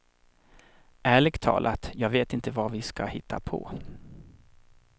Ärligt talat, jag vet inte vad vi ska hitta på.